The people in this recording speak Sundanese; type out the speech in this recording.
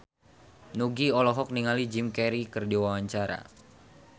Nugie olohok ningali Jim Carey keur diwawancara